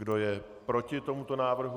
Kdo je proti tomuto návrhu?